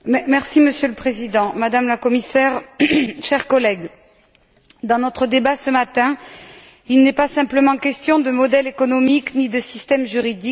Monsieur le Président, Madame la Commissaire, chers collègues, dans notre débat de ce matin, il n'est pas simplement question de modèle économique ni de système juridique.